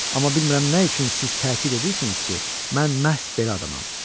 Amma bilmirəm nə üçün siz təkid edirsiniz ki, mən məhz belə adamam.